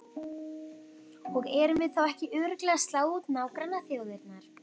Og erum við þá ekki örugglega að slá út nágrannaþjóðirnar?